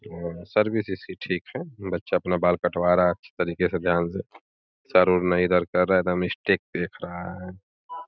आ service इसकी ठीक है। बच्चा अपना बाल कटवा रहा अच्छे तरीके ध्यान से। चारो ओर नाई इधर कर रहा है। एकदम स्ट्रेट देख रहा है।